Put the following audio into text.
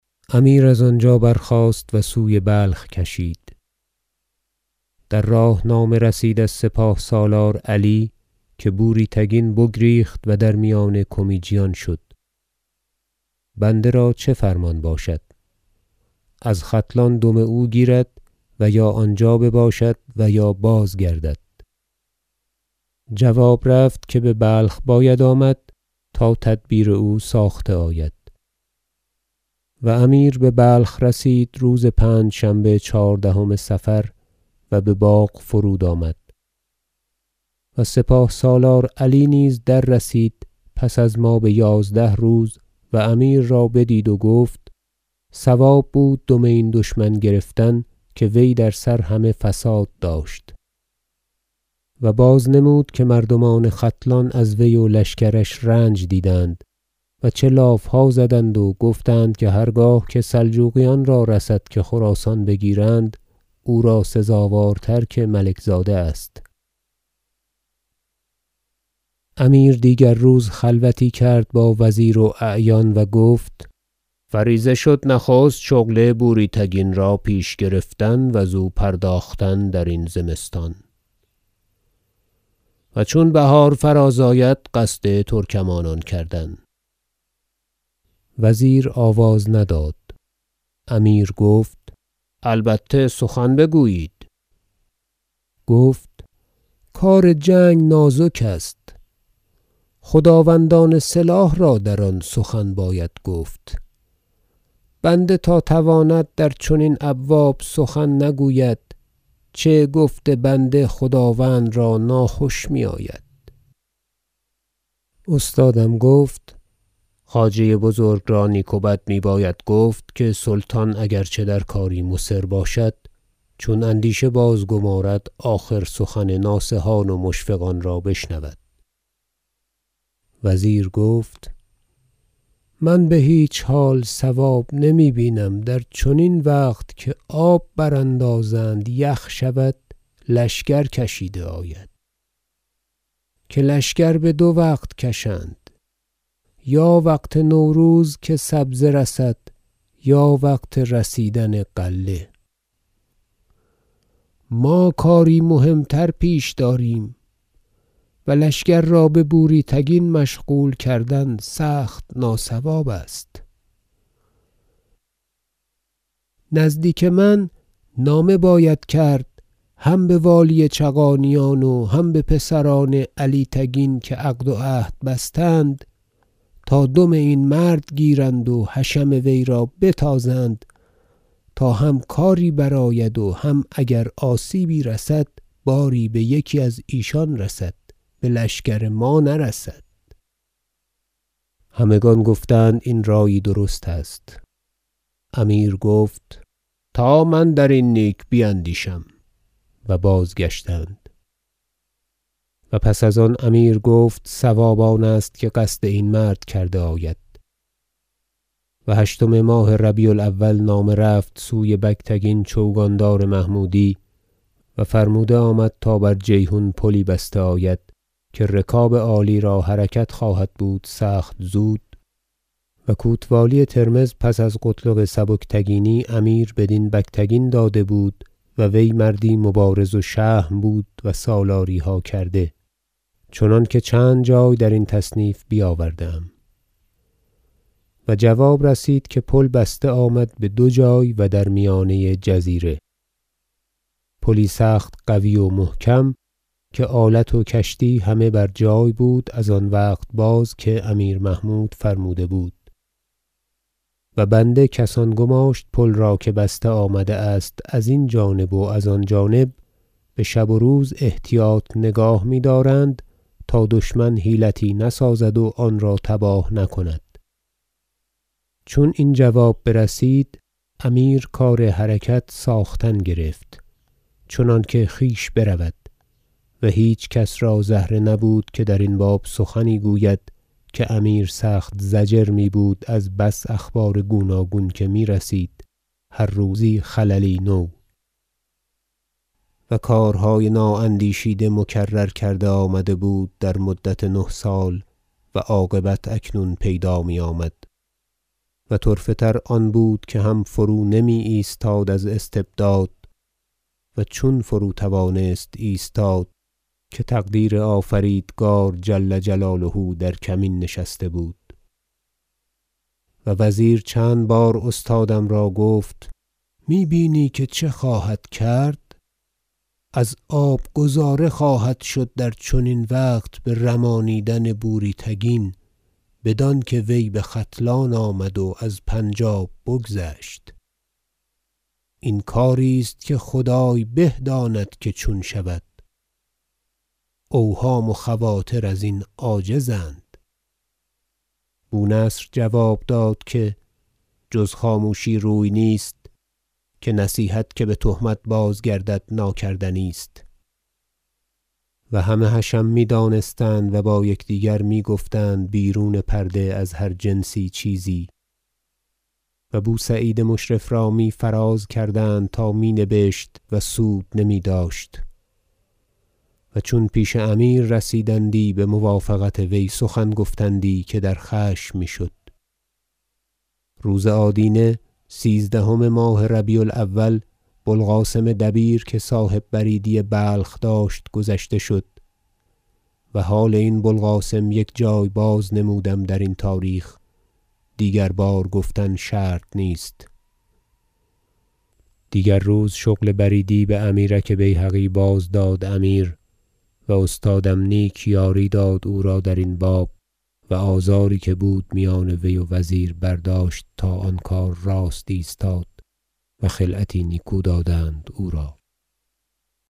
و امیر از آنجا برخاست و سوی بلخ کشید در راه نامه رسید از سپاه سالار علی که بوری تگین بگریخت و در میان کمیجیان شد بنده را چه فرمان باشد از ختلان دم او گیرد و یا آنجا بباشد و یا بازگردد جواب رفت که ببلخ باید آمد تا تدبیر او ساخته آید و امیر ببلخ رسید روز پنجشنبه چهاردهم صفر و بباغ فرود آمد و سپاه سالار علی نیز در رسید پس از ما بیازده روز و امیر را بدید و گفت صواب بود دم این دشمن گرفتن که وی در سر همه فساد داشت و بازنمود که مردمان ختلان از وی و لشکرش رنج دیدند و چه لافها زدند و گفتند که هرگاه که سلجوقیان را رسد که خراسان بگیرند او را سزاوارتر که ملک زاده است امیر دیگر روز خلوتی کرد با وزیر و اعیان و گفت فریضه شد نخست شغل بوری تگین را پیش گرفتن و زو پرداختن درین زمستان و چون بهار فراز آید قصد ترکمانان کردن وزیر آواز نداد امیر گفت البته سخن بگویید گفت کار جنگ نازک است خداوندان سلاح را در آن سخن باید گفت بنده تا تواند در چنین ابواب سخن نگوید چه گفت بنده خداوند را ناخوش میآید استادم گفت خواجه بزرگ را نیک و بد میباید گفت که سلطان اگر چه در کاری مصر باشد چون اندیشه باز- گمارد آخر سخن ناصحان و مشفقان را بشنود وزیر گفت من بهیچ حال صواب نمی بینم در چنین وقت که آب براندازند یخ شود لشکر کشیده آید که لشکر بدو وقت کشند یا وقت نوروز که سبزه رسد یا وقت رسیدن غله ما کاری مهم تر پیش داریم و لشکر را به بوری تگین مشغول کردن سخت ناصواب است نزدیک من نامه باید کرد هم بوالی چغانیان و هم به پسران علی تگین که عقد و عهد بستند تا دم این مرد گیرند و حشم وی را بتازند تا هم کاری برآید و هم اگر آسیبی رسد باری بیکی از ایشان رسد بلشکر ما نرسد همگان گفتند این رایی درست است امیر گفت تا من در این نیک بیندیشم و بازگشتند تصمیم امیر در رفتن در پی بوری تگین و پس از آن امیر گفت صواب آن است که قصد این مرد کرده آید و هشتم ماه ربیع الأول نامه رفت سوی بگتگین چوگاندار محمودی و فرموده آمد تا بر جیحون پلی بسته آید که رکاب عالی را حرکت خواهد بود سخت زود- و کوتوالی ترمذ پس از قتلغ سبکتگینی امیر بدین بگتگین داده بود و وی مردی مبارز و شهم بود و سالاریها کرده چنانکه چند جای درین تصنیف بیاورده ام- و جواب رسید که پل بسته آمد بدو جای و در میانه جزیره پلی سخت قوی و محکم که آلت و کشتی همه بر جای بود از آن وقت باز که امیر محمود فرموده بود و بنده کسان گماشت پل را که بسته آمده است از این جانب و از آن جانب بشب و روز احتیاط نگاه میدارند تا دشمنی حیلتی نسازد و آن را تباه نکند چون این جواب برسید امیر کار حرکت ساختن گرفت چنانکه خویش برود و هیچ کس را زهره نبود که درین باب سخنی گوید که امیر سخت ضجر میبود از بس اخبار گوناگون که میرسید هر روز خللی نو و کارهای نا اندیشیده مکرر کرده آمده بود در مدت نه سال و عاقبت اکنون پیدا میآمد و طرفه تر آن بود که هم فرود نمی ایستاد از استبداد و چون فرو توانست ایستاد که تقدیر آفریدگار جل جلاله در کمین نشسته بود وزیر چند بار استادم را گفت می بینی که چه خواهد کرد از آب گذاره خواهد شد در چنین وقت به رمانیدن بوری تگین بدانکه وی بختلان آمد و از پنج آب بگذشت این کاری است که خدای به داند که چون شود اوهام و خواطر ازین عاجزند بو نصر جواب داد که جز خاموشی روی نیست که نصیحت که بتهمت بازگردد ناکردنی است و همه حشم میدانستند و با یکدیگر میگفتند بیرون پرده از هر جنسی چیزی و بو سعید مشرف را می فراز کردند تامی نبشت و سود نمیداشت و چون پیش امیر رسیدندی بموافقت وی سخن گفتندی که در خشم می شد روز آدینه سیزدهم ماه ربیع الأول بو القاسم دبیر که صاحب بریدی بلخ داشت گذشته شد و حال این بو القاسم یک جای بازنمودم درین تاریخ دیگربار گفتن شرط نیست دیگر روز شغل بریدی بامیرک بیهقی باز داد امیر و استادم نیک یاری داد او را درین باب و آزاری که بود میان وی و وزیر برداشت تا آن کار راست ایستاد و خلعتی نیکو دادند او را